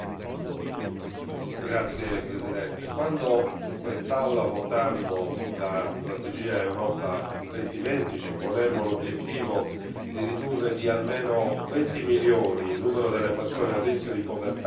Quando in quest'Aula votammo la strategia Europa 2020 ci ponemmo l'obiettivo di ridurre di almeno 20 milioni il numero delle persone a rischio di povertà o di esclusione sociale entro il